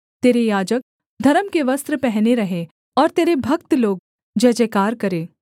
तेरे याजक धर्म के वस्त्र पहने रहें और तेरे भक्त लोग जयजयकार करें